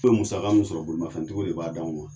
N be musaka mu sɔrɔ bolimafɛn tigiw de b'a d'anw ma.